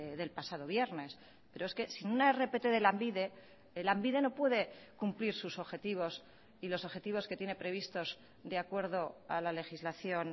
del pasado viernes pero es que sin una rpt de lanbide lanbide no puede cumplir sus objetivos y los objetivos que tiene previstos de acuerdo a la legislación